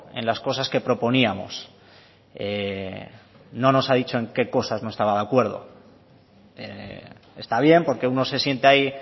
en las cosas que proponíamos no nos ha dicho en qué cosas no estaba de acuerdo está bien porque uno se siente ahí